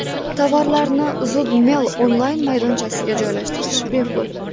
Tovarlarni ZoodMall onlayn-maydonchasiga joylashtirish bepul.